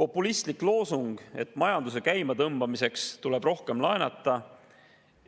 Populistlik loosung, et majanduse käimatõmbamiseks tuleb rohkem laenata,